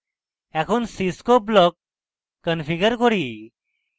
এখন cscope block configure করি